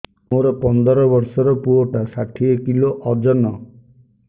ମୋର ପନ୍ଦର ଵର୍ଷର ପୁଅ ଟା ଷାଠିଏ କିଲୋ ଅଜନ